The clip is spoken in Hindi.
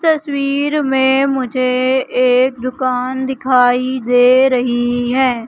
तस्वीर में मुझे एक दुकान दिखाई दे रही है।